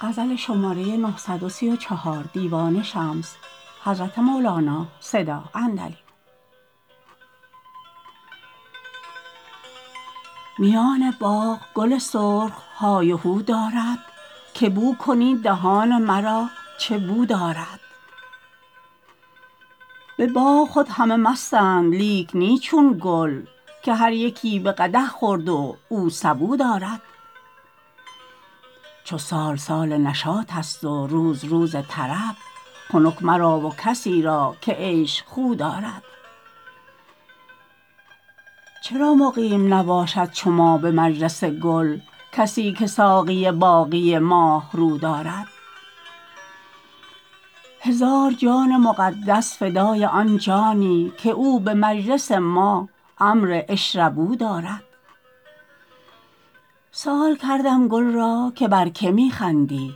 میان باغ گل سرخ های و هو دارد که بو کنید دهان مرا چه بو دارد به باغ خود همه مستند لیک نی چون گل که هر یکی به قدح خورد و او سبو دارد چو سال سال نشاطست و روز روز طرب خنک مرا و کسی را که عیش خو دارد چرا مقیم نباشد چو ما به مجلس گل کسی که ساقی باقی ماهرو دارد هزار جان مقدس فدای آن جانی که او به مجلس ما امر اشربوا دارد سؤال کردم گل را که بر کی می خندی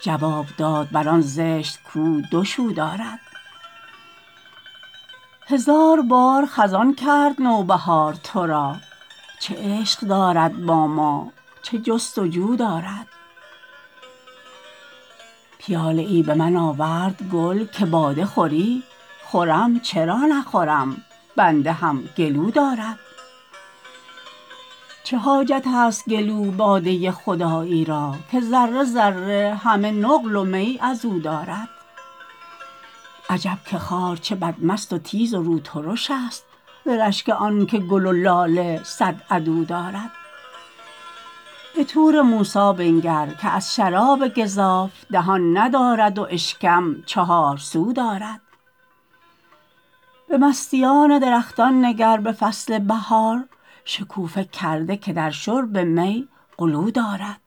جواب داد بر آن زشت کو دو شو دارد هزار بار خزان کرد نو بهار تو را چه عشق دارد با ما چه جست و جو دارد پیاله ای به من آورد گل که باده خوری خورم چرا نخورم بنده هم گلو دارد چه حاجتیست گلو باده ی خدایی را که ذره ذره همه نقل و می از او دارد عجب که خار چه بدمست و تیز و روترشست ز رشک آنک گل و لاله صد عدو دارد به طور موسی بنگر که از شراب گزاف دهان ندارد و اشکم چهارسو دارد به مستیان درختان نگر به فصل بهار شکوفه کرده که در شرب می غلو دارد